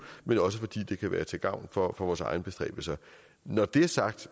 men også fordi det kan være til gavn for vores egne bestræbelser når det er sagt